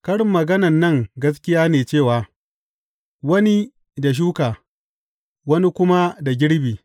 Karin maganan nan gaskiya ne cewa, Wani da shuka, wani kuma da girbi.’